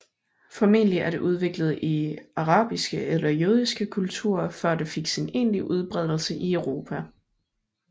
Formentlig er det udviklet i arabiske eller jødiske kulturer før det fik sin egentlige udbredelse i Europa